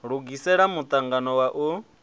lugisela mu angano wa u